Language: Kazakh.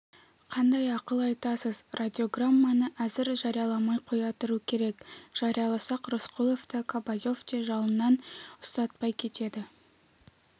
қандай ақыл айтасыз радиограмманы әзір жарияламай қоя тұру керек жарияласақ рысқұловта кобозев те жалынан ұстатпай кетеді